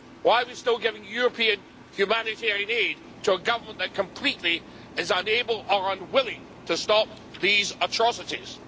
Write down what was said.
Why are we still giving European humanitarian aid to a government that is completely unable or unwilling to stop these atrocities?